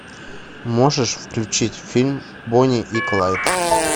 можешь включить фильм бонни и клайд